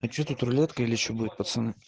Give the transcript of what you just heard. а что тут рулетка или что будет пацаны